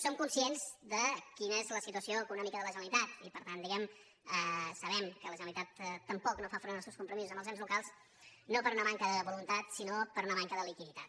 som conscients de quina és la situació econòmica de la generalitat i per tant diguem·ne sabem que la generalitat tampoc no fa front als seus compromisos amb els ens locals no per una manca de voluntat sinó per una manca de liquiditat